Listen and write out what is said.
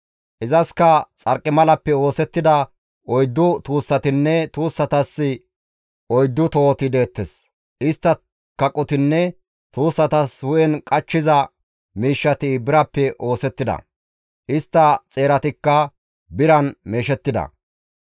Izaskka xarqimalappe oosettida oyddu tuussatinne tuussatas oyddu tohoti deettes. Istta kaqotinne tuussatas hu7en qachchiza miishshati birappe oosettida; istta xeeratikka biran meeshettida.